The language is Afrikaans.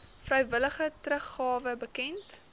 vrywillige teruggawe bekend